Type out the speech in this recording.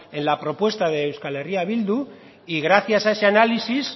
en la propuesta de euskal herria bildu y gracias a ese análisis